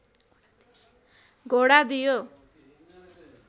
घोडा दियो